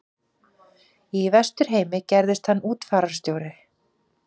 Í Vesturheimi gerðist hann útfararstjóri.